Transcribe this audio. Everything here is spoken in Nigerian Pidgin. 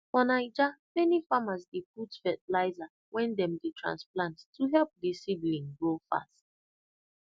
for naija many farmers dey put fertilizer when dem dey transplant to help the seedling grow fast